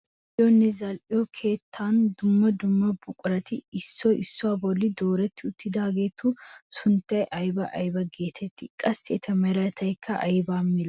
Bayzziyoonne zal"iyoo keettan dumma dumma buqurati issoy issuwaa bollan doretti uttidaagetu sunttay aybaa aybaa getettii? qassi eta meraykka aybaa milatii?